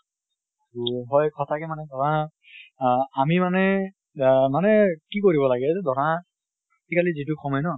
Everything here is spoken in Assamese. হয় সঁচা কে মানে ধৰা আহ আমি মানে আহ মানে কি কৰিব লাগে এইটো ধৰা আজি কালি যিটো সময় ন